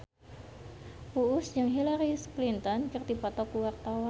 Uus jeung Hillary Clinton keur dipoto ku wartawan